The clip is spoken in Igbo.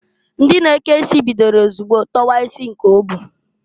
Ndị na-eke isi bidoro ozugbo tọwa isi nke o bu.